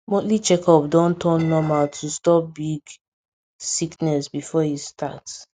monthly checkup don turn normal to stop big sickness before e start